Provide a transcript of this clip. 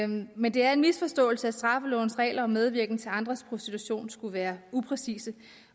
men det er en misforståelse at straffelovens regler om medvirken til andres prostitution skulle være upræcise